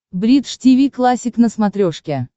бридж тиви классик на смотрешке